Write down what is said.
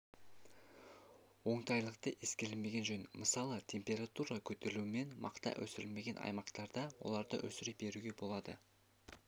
оңтайлылықты ескермеген жөн мысалы температура көтерілуінен мақта өсірілмеген аймақтарда оларды өсіре беруге болады